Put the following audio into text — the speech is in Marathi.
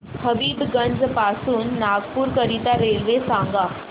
हबीबगंज पासून नागपूर करीता रेल्वे सांगा